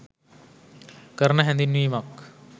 කරන හැඳින්වීමක්.